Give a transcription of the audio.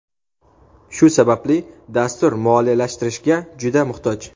Shu sababli dastur moliyalashtirishga juda muhtoj.